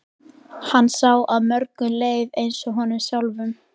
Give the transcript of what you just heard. Hann sá að mörgum leið eins og honum sjálfum.